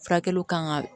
Furakɛliw kan ka